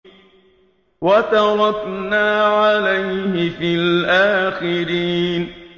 وَتَرَكْنَا عَلَيْهِ فِي الْآخِرِينَ